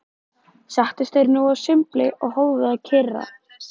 Settust þeir nú að sumbli og hófu að kyrja